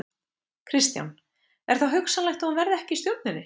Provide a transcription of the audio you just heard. Kristján: Er þá hugsanlegt að hún verði ekki í stjórninni?